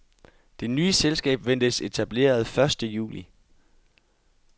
Det nye selskab ventes etableret første juli.